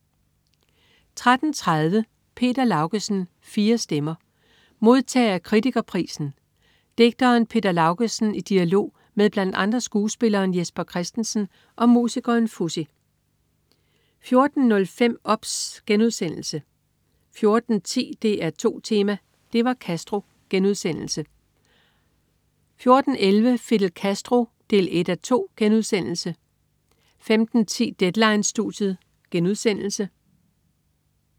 13.30 Peter Laugesen. Fire stemmer. Modtager af Kritiker-prisen, digteren Peter Laugesen, i dialog med blandt andre skuespilleren Jesper Christensen og musikeren Fuzzy 14.05 OBS* 14.10 DR2 Tema: Det var Castro* 14.11 Fidel Castro 1:2* 15.10 Deadline-studiet*